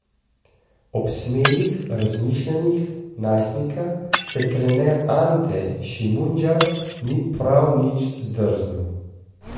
Ob smelih razmišljanjih najstnika se trener Ante Šimundža ni prav nič zdrznil.